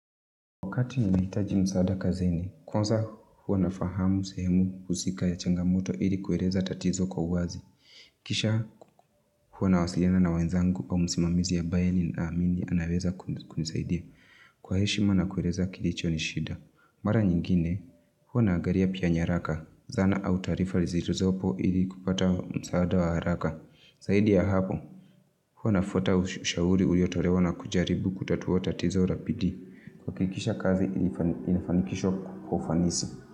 Wakati nimeitaji msaada kazini, kwanza huwa nafahamu sehemu husika ya changamoto ili kueleza tatizo kwa uwazi. Kisha huwa nawasiliana na wanzangu kwa msimamizi ambaye nina amini anaweza kunisaidia. Kwa heshima na kueleza kilicho nishida. Mara nyingine, huwa na agalia pia nyaraka, zana au tarifa zilizopo ili kupata msaada wa haraka. Zaidi ya hapo, huwa nafuata ushauri uliotolewa na kujaribu kutatuwa tatizo la bidii. Kuhakikisha kazi ilifanikishwa kwa ufanisi.